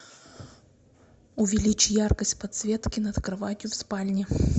увеличь яркость подсветки над кроватью в спальне